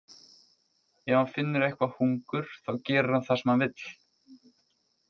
Ef hann finnur eitthvað hungur þá gerir hann það sem hann vill.